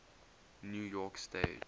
new york stage